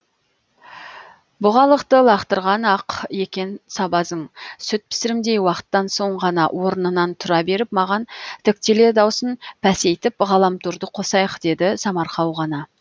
бұғалықты лақтырған ақ екен сабазың сүт пісірімдей уақыттан соң ғана орнынан тұра беріп маған тіктеле даусын пәсейтіп ғаламторды қосайық деді самарқау ғана